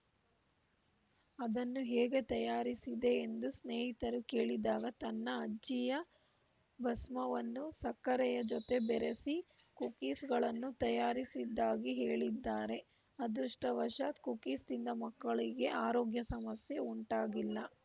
ಅದನ್ನು ಹೇಗೆ ತಯಾರಿಸಿದೆ ಎಂದು ಸ್ನೇಹಿತರು ಕೇಳಿದಾಗ ತನ್ನ ಅಜ್ಜಿಯ ಭಸ್ಮವನ್ನು ಸಕ್ಕರೆಯ ಜೊತೆ ಬೆರೆಸಿ ಕುಕೀಸ್‌ಗಳನ್ನು ತಯಾರಿಸಿದ್ದಾಗಿ ಹೇಳಿದ್ದಾರೆ ಅದೃಷ್ಟವಶಾತ್‌ ಕುಕೀಸ್‌ ತಿಂದ ಮಕ್ಕಳಿಗೆ ಆರೋಗ್ಯ ಸಮಸ್ಯೆ ಉಂಟಾಗಿಲ್ಲ